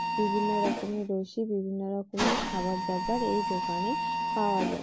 বিভিন্ন রকমের ওষুধ বিভিন্ন রকমের খাবার দাবার এই দোকানে পাওয়া যায়।